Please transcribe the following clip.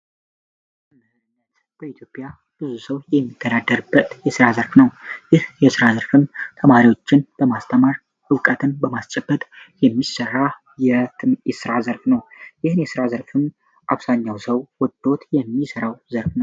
በኢትዮጵያ በጣም ብዙ ሰው የሚሳተፍበት የስራ ዘርፍ ነው ይህ የስራ ዘርፍ ተማሪዎችን ለማስተማር እውቀትን በማስጨበጥ የተሰራ የስራ ዘርፍ ነው ይህ የስራ ዘርፍ አብዛኛው ሰዎች የሚሰራው የስራ ዘርፍ ነው።